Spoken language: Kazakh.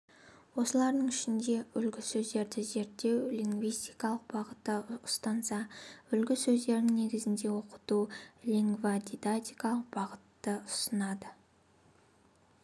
осылардың ішінде үлгісөздерді зерттеу лингвистикалық бағытта ұстанса үлгісөздердің негізінде оқыту лингводидактикалық бағытты ұстанады